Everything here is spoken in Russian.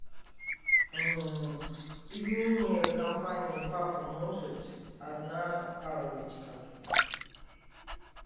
пельмени компании папа может одна коробочка